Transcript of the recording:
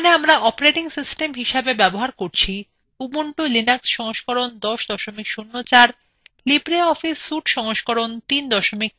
এখানে আমরা operating system হিসাবে ব্যবহার করছি: